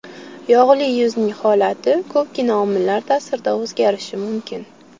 Yog‘li yuzning holati ko‘pgina omillar ta’sirida o‘zgarishi mumkin.